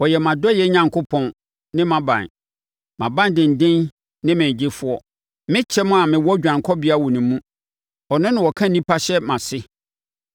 Ɔyɛ mʼadɔeɛ Onyankopɔn ne mʼaban, mʼabandenden ne me ɔgyefoɔ, me kyɛm a mewɔ dwanekɔbea wɔ ne mu; ɔno na ɔka nnipa hyɛ mʼase.